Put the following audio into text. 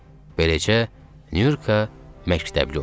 Beləcə, Nurka məktəbli oldu.